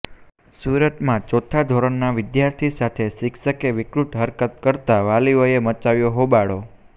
સુરતમાં ચોથા ધોરણના વિદ્યાર્થી સાથે શિક્ષકે વિકૃત હરકત કરતા વાલીઓએ મચાવ્યો હોબાળો